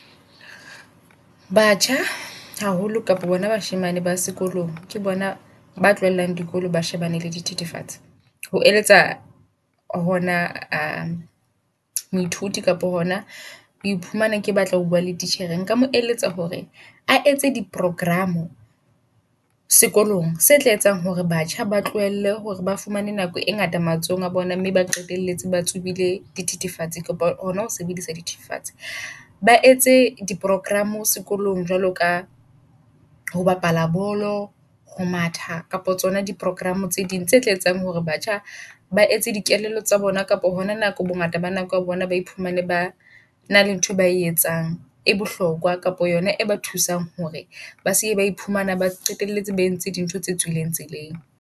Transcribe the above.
Batjha haholo kapa bona bashemane ba sekolong, ke bona ba dikolo ba shebane le di thethefatsi. Ho eletsa hona moithuti kapo hona o iphumana ke batla ho bua le titjhere. Nka mo eletsa hore a etse di program sekolong se tla etsang hore batjha ba tlohelle hore ba fumane nako e ngata matsohong a bona, mme ba qetelletse ba tsoble di thethefatsi. Kapa hona ho sebedisa di thethefatse, ba etse di program sekolong. Jwalo ka ho bapala bolo, ho matha kapa tsona di program tse ding tse tla etsang hore batjha ba etse di kelello tsa bona kapa hona nako bongata ba nako ya bona ba iphumane ba na le ntho e bae etsang e bohlokwa. Kapa yona e ba thusang hore ba seke bae phumana ba qetelletse ba entse di ntho tse tswileng tseleng.